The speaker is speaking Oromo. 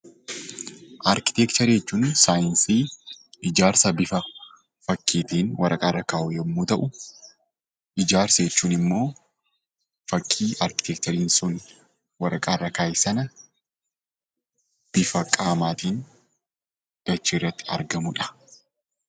Arkiteekcharii jechuun saayinsii ijaarsa bifa bakkeetiin waraqaa irra kaa'uu yommuu ta'u, ijaarsa jechuun immoo fakkii arkiteekchariin sun waraqaa irra kaa'e sana bifa qaamaatiin dachee irratti argamudha.